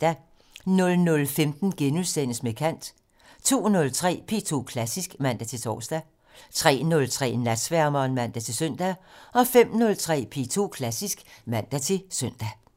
00:15: Med kant * 02:03: P2 Klassisk (man-tor) 03:03: Natsværmeren (man-søn) 05:03: P2 Klassisk (man-søn)